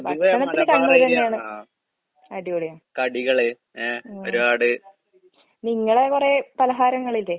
ഭക്ഷണത്തില് കണ്ണൂരന്നേണ്, അടിപൊളിയാ. ഉം. നിങ്ങളെ കൊറേ പലഹാരങ്ങളില്ലേ?